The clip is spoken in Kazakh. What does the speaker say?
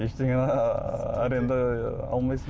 ештеңені арендаға алмайсың